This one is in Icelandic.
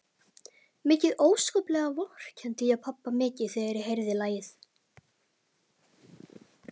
Mikið óskaplega vorkenndi ég pabba mikið þegar ég heyrði lagið.